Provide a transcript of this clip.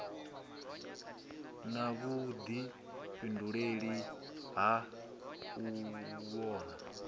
na vhuḓifhinduleli ha u vhona